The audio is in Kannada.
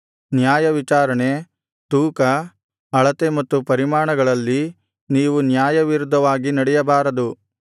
ನ್ಯಾಯವಿಚಾರಣೆ ತೂಕ ಅಳತೆ ಮತ್ತು ಪರಿಮಾಣಗಳಲ್ಲಿ ನೀವು ನ್ಯಾಯವಿರುದ್ಧವಾಗಿ ನಡೆಯಬಾರದು